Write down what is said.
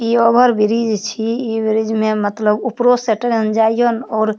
ई over bridge छी ई bridge में मतलब उपरो से ट्रेन जाय या और --